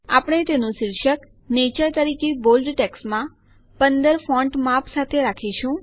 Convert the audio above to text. આપણે તેનું શીર્ષક નેચર તરીકે બોલ્ડ ટેક્સ્ટમાં ૧૫ ફોન્ટ માપ સાથે આપીશું